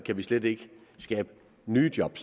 slet ikke kan skabe nye job